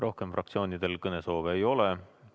Rohkem fraktsioonidel kõnesoove ei ole.